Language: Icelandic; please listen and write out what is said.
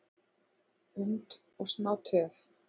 und og smá töf,